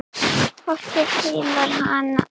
Fólkið fílar hana.